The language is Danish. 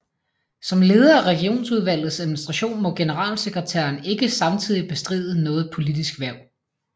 Som leder af Regionsudvalgets administration må generalsekretæren ikke samtidig bestride noget politisk hverv